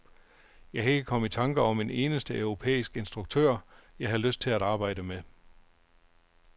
Jeg kan ikke komme i tanke om en eneste europæisk instruktør, jeg har lyst til at arbejde med.